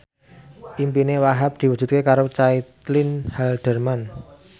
impine Wahhab diwujudke karo Caitlin Halderman